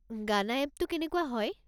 গানা এপটো কেনেকুৱা হয়।